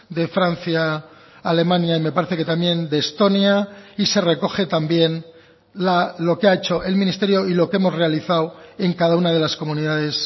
de francia alemania y me parece que también de estonia y se recoge también lo que ha hecho el ministerio y lo que hemos realizado en cada una de las comunidades